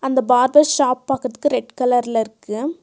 அந்த barber shop பக்கற்துக்கு red கலர்ல இருக்கு.